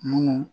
Mun